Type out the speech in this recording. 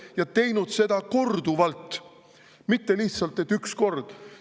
Ja ta on teinud seda korduvalt, mitte ainult üks kord.